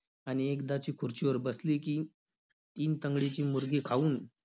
आणि एकदाची खुर्चीवर बसली की, तीन तंगडीची मुर्गी खाऊन